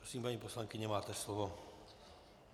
Prosím, paní poslankyně, máte slovo.